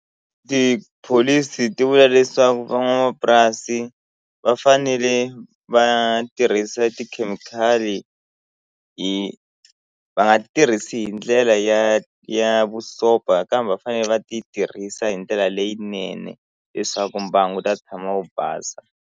Tipholisi ti vula leswaku van'wamapurasi va fanele va tirhisa tikhemikhali hi va nga tirhisi hi ndlela ya ya vusopfa kambe va fanele va ti tirhisa hi ndlela leyinene leswaku mbangu ta tshama wu basa.